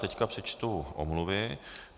Teď přečtu omluvy.